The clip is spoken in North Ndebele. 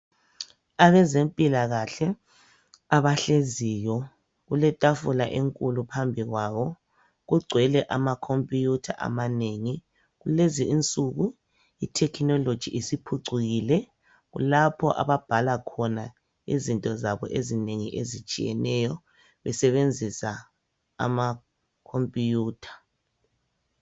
Abezempilakahle abahleziyo kuletafula enkulu phambi kwabo. Kugcwele amakhompiyutha amanengi. Kulezinsuku i- technology isiphucukile lapho ababhala khona izinto zabo ezinengi ezitshiyeneyo besebenzisa amakhompiyutha.